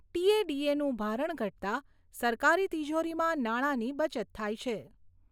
ટી.એ.ડી.એ.નું ભારણ ઘટતા સરકારી તિજોરીમાં નાણાંની બચત થાય છે.